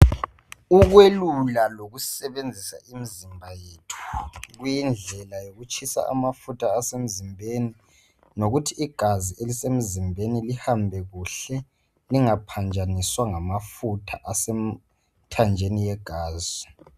ukwelula lokusebenzisa imizimba yethu kuyindlela yokutshisa amafutha asemzimbeni lokuthi igazi elisemzimbeni lihambe kuhle lingaphanjaniswa ngamafutha asemithanjeni yegazi